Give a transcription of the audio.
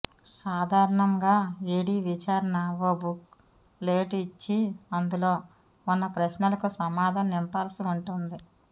సాధారణంగా ఈడీ విచారణ ఓ బుక్ లేట్ ఇచ్చి అందులో ఉన్న ప్రశ్నలకు సమాధానం నింపాల్సి ఉంటుంది